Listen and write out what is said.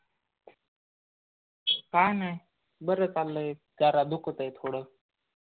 काही नाही बर चाललय जरा दुखतंय थोड.